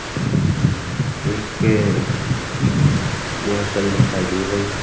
एक बोतल दिखाई दे रही है।